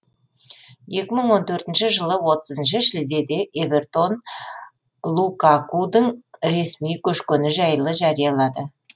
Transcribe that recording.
екі мың он төртінші жылы отызыншы шілдеде эвертон лукакудың ресми көшкені жайлы жариялады